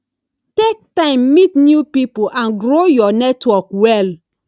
take time meet new pipo and grow your network well